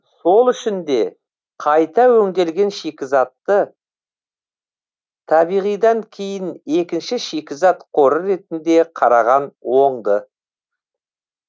сол үшін де қайта өңделген шикізатты табиғидан кейін екінші шикізат қоры ретінде қараған оңды